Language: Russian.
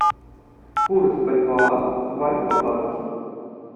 курс бальбоа в альфа банке